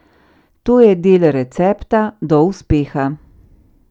To je del recepta do uspeha.